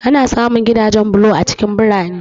Ana samun gidajen bulo a cikin birane.